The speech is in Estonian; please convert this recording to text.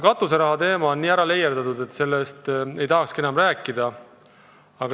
Katuseraha teema on nii ära leierdatud, et sellest ei tahakski enam rääkida.